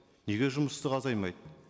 неге жұмыссыздық азаймайды